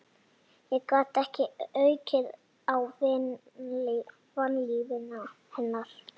Ég gat ekki aukið á vanlíðan hennar.